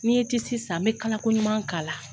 N'i n ye tisi san n bɛ kala koɲuman k'a la.